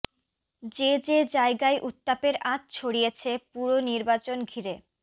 যে যে জায়গায় উত্তাপের আঁচ ছড়িয়েছে পুর নির্বাচন ঘিরে